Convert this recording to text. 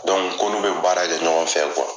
ko n'u bɛ baara kɛ ɲɔgɔn fɛ